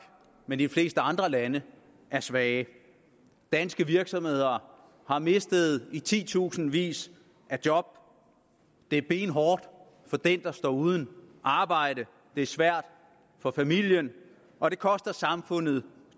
men i de fleste andre lande er svage danske virksomheder har mistet i titusindvis af job det er benhårdt for den der står uden arbejde det er svært for familien og det koster samfundet